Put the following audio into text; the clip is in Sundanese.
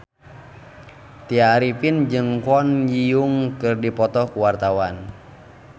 Tya Arifin jeung Kwon Ji Yong keur dipoto ku wartawan